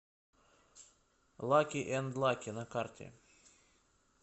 лаки энд лаки на карте